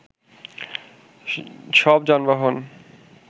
সব যানবাহন